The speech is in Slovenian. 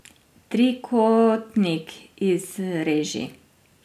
Trikotnik izreži.